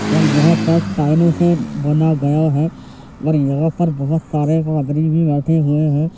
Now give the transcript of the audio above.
और यह से बना गया है यहाँ पर बहुत सारे पादरी भी बैठे हुए हैं।